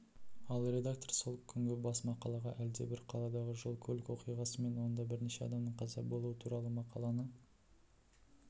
ал редактор сол күнгі бас мақалаға әлдебір қаладағы жол-көлік оқиғасы мен онда бірнеше адамның қаза болуы туралы мақаланы